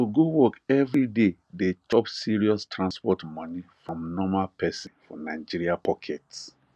to go work every day dey chop serious transport money from normal person for nigeria pocket